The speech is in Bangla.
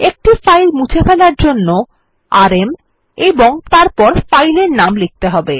একটি ফাইল মুছে ফেলার জন্য আরএম এবং তারপর ফাইলের নাম লিখতে হবে